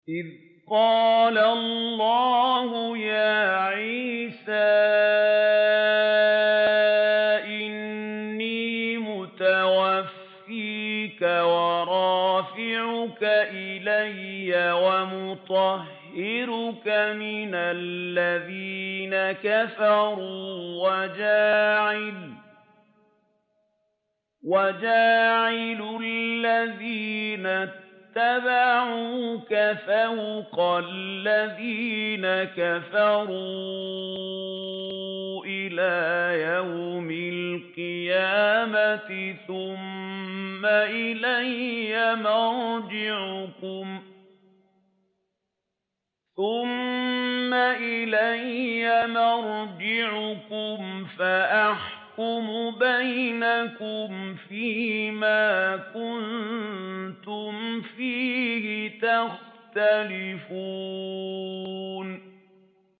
إِذْ قَالَ اللَّهُ يَا عِيسَىٰ إِنِّي مُتَوَفِّيكَ وَرَافِعُكَ إِلَيَّ وَمُطَهِّرُكَ مِنَ الَّذِينَ كَفَرُوا وَجَاعِلُ الَّذِينَ اتَّبَعُوكَ فَوْقَ الَّذِينَ كَفَرُوا إِلَىٰ يَوْمِ الْقِيَامَةِ ۖ ثُمَّ إِلَيَّ مَرْجِعُكُمْ فَأَحْكُمُ بَيْنَكُمْ فِيمَا كُنتُمْ فِيهِ تَخْتَلِفُونَ